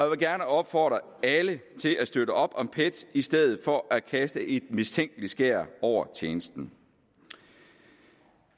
vil gerne opfordre alle til at støtte op om pet i stedet for at kaste et mistænkeligt skær over tjenesten